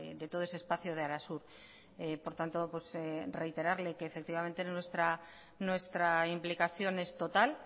de todo ese espacio de arasur por tanto reiterarle que efectivamente nuestra implicación es total